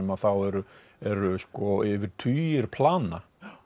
þá eru eru yfir tugir plana